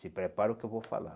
Se prepara o que eu vou falar.